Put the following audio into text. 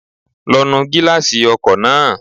Lọ nu gíláàsì ọkọ̀ náà